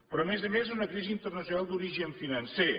però a més a més una crisi internacional d’origen financer